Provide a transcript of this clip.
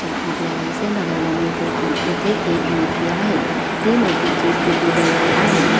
दृश्यात आपल्याला असे बघायला मिळते कि इथे एक मूर्ती आहे ती मूर्तीची स्थिती बैठी आहे.